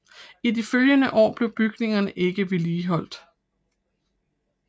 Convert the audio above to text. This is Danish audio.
I de følgende år blev bygningerne ikke vedligeholdt